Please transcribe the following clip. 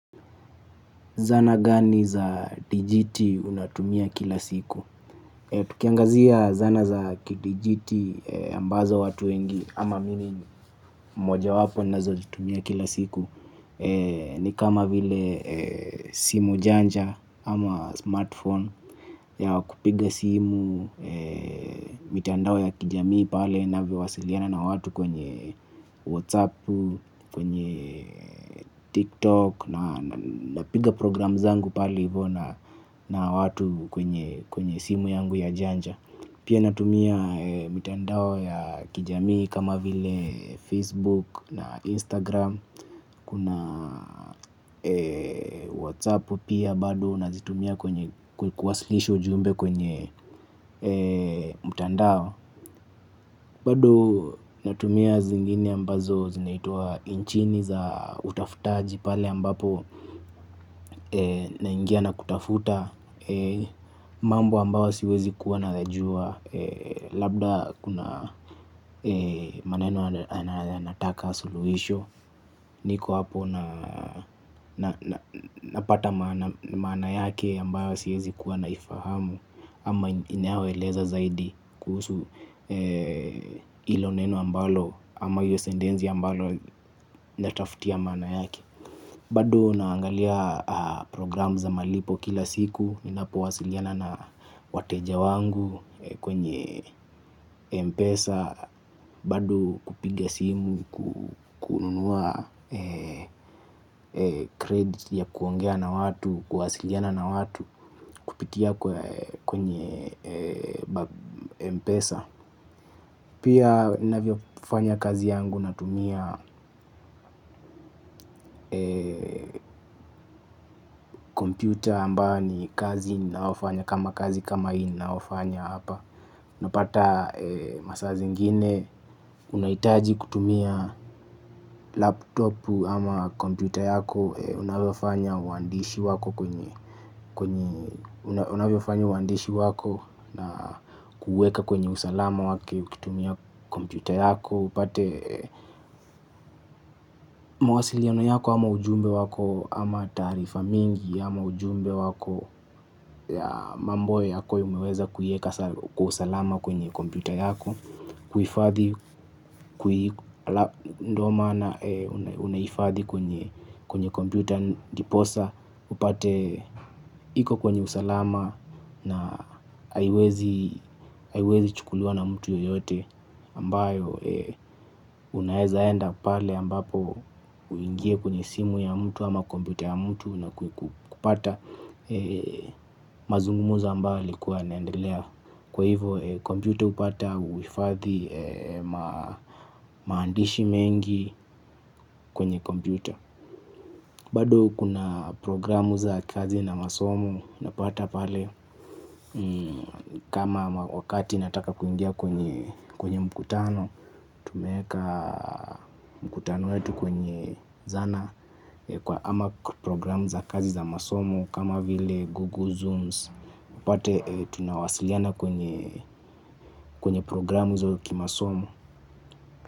Zana gani za dijiti unatumia kila siku? Tukiangazia zana za kidijiti ambazo watu wengi ama mimi moja wapo ninazo zitumia kila siku. Ni kama vile simu janja ama smartphone ya wakupiga simu. Mitandao ya kijamii pale navyowasiliana na watu kwenye whatsapp, kwenye tiktok na napiga program zangu pale hivyo na watu kwenye simu yangu ya janja. Pia natumia mitandao ya kijamii kama vile Facebook na Instagram. Kuna WhatsApp pia bado nazitumia kwenye kuwasilisha ujumbe kwenye mutandao. Bado natumia zingine ambazo zinaitwa inchini za utafutaji pale ambapo naingia na kutafuta. Mambo ambayo siwezi kuwa nayajua labda kuna maneno yanataka suluhisho. Niko hapo napata maana yake ambayo siwezi kuwa naifahamu ama inayoeleza zaidi kuhusu hilo neno ambalo ama hiyo sentenzi ambalo natafutia maana yake. Bado naangalia program za malipo kila siku. Ninapo wasiliana na wateja wangu kwenye mpesa. Bado kupiga simu, kukunua kredit ya kuongea na watu, kuwasiliana na watu kupitia kwenye mpesa. Pia ninavyo fanya kazi yangu natumia computer ambayo ni kazi ninaofanya kama kazi kama hii naofanya hapa. Napata masaa zingine unaitaji kutumia laptopu ama computer yako. Unalofanya uandishi wako na kuweka kwenye usalama wake ukitumia kompyuta yako. Upate mawasiliano yako ama ujumbe wako ama taarifa mingi ama ujumbe wako. Ya mambo yako umeweza kuieka kwa usalama kwenye kompyuta yako. Kuhifadhi kui ndo maana unahifadhi kwenye kompyuta ndiposa upate iko kwenye usalama na haiwezi chukuliwa na mtu yeyote ambayo unaezaenda pale ambapo uingie kwenye simu ya mtu ama kompyuta ya mtu na kupata mazungumuzo ambayo yalikuwa yanaendelea. Kwa hivo kompyuta hupata uhifadhi maandishi mengi kwenye kompute. Bado kuna programu za kazi na masomo, unapata pale kama wakati nataka kuingia kwenye mkutano, tumeeka mkutano wetu kwenye zana, ama programu za kazi za masomo kama vile Google Zooms, upate tunawasiliana kwenye programu za kimasomo.